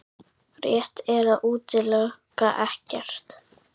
Rétt er að útiloka ekkert